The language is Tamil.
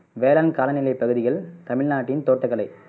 வேளாண் காலநிலை தகுதிகள், தமிழ்நாட்டின் தோட்டக்கலை.